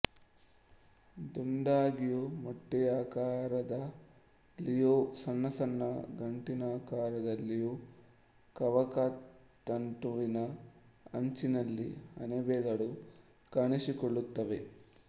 ದುಂಡಾಗಿಯೂ ಮೊಟ್ಟೆಯಾಕಾರದಲ್ಲಿಯೂ ಸಣ್ಣ ಸಣ್ಣ ಗಂಟಿನಾಕಾರದಲ್ಲಿಯೂ ಕವಕತಂತುವಿನ ಅಂಚಿನಲ್ಲಿ ಅಣಬೆಗಳು ಕಾಣಿಸಿಕೊಳ್ಳುತ್ತವೆ